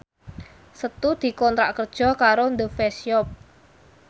Setu dikontrak kerja karo The Face Shop